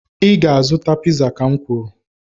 ị ga-azụta piza, ka m kwuru